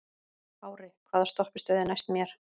Ári, hvaða stoppistöð er næst mér?